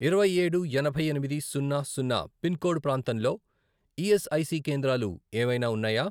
ఇరవై ఏడు, ఎనభై ఎనిమిది, సున్నా, సున్నా, పిన్ కోడ్ ప్రాంతంలో ఈఎస్ఐసి కేంద్రాలు ఏవైనా ఉన్నాయా?